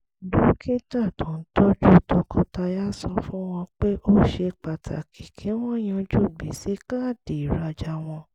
dókítà tó ń tọ́jú tọkọtaya sọ fún wọn pé ó ṣe pàtàkì kí wọ́n yanjú gbèsè káàdì ìrajà wọn